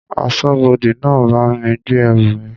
Aṣọ́bodè náà bá mi gbé ẹrù mi.